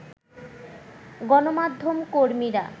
গণমাধ্যম কর্মীরা